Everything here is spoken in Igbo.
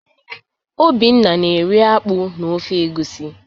Obinna na-eri akpu na ofe egusi.